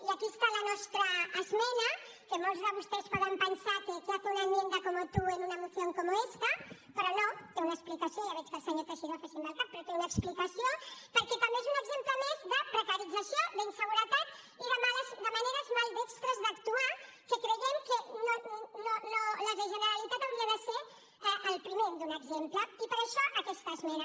i aquí està la nostra esmena que molts de vostès poden pensar que qué hace una enmienda como tú en una moción como esta però no té una explicació ja veig que el senyor teixidó fa així amb el cap però té una explicació perquè també és un exemple més de precarització d’inseguretat i de maneres maldestres d’actuar que creiem que la generalitat hauria de ser el primer a donar exemple i per això aquesta esmena